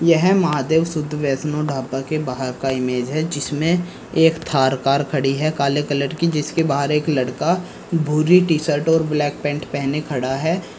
यह महादेव शुद्ध वैष्णो ढाबा के बाहर का इमेज है जिसमें एक थार कार खड़ी है काले कलर की जिसके बाहर एक लड़का भूरी टी शर्ट और ब्लैक पैंट पहने खड़ा है।